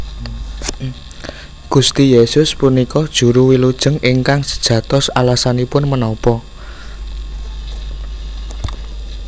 Gusti Yesus punika Juru Wilujeng ingkang sejatosAlasanipun menapa